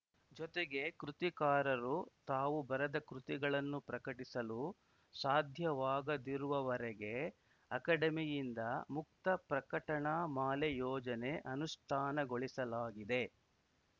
ಜೊತೆಗೆ ಕೃತಿಕಾರರು ತಾವು ಬರೆದ ಕೃತಿಗಳನ್ನು ಪ್ರಕಟಿಸಲು ಸಾಧ್ಯವಾಗದಿರುವವರೆಗೆ ಅಕಡೆಮಿಯಿಂದ ಮುಕ್ತ ಪ್ರಕಟಣಾ ಮಾಲೆ ಯೋಜನೆ ಅನುಷ್ಠಾನಗೊಳಿಸಲಾಗಿದೆ